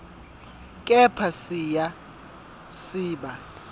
kepha siya siba